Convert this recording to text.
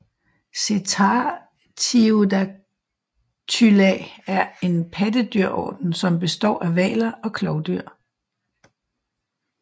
Cetartiodactyla er en pattedyrorden som består af hvaler og klovdyr